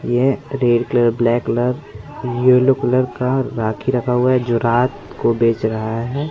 ये red colour black colour yellow colour का राखी रखा हुआ है जो रात को बेच रहा है।